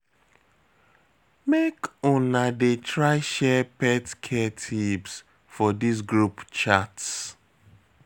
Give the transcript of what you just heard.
Make una dey try share pet care tips for dis group chat.